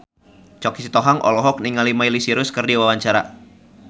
Choky Sitohang olohok ningali Miley Cyrus keur diwawancara